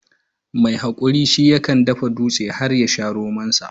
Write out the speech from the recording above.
Mai haƙuri shi yakan dafa dutse har ma ya sha romansa.